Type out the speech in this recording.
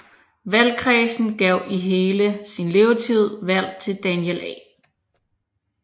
Valgkredsen gav i hele sin levetid valg til Daniel A